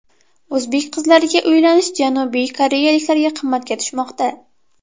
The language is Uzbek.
O‘zbek qizlariga uylanish janubiy koreyaliklarga qimmatga tushmoqda .